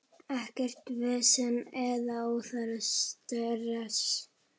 Ekkert vesen eða óþarfa stress.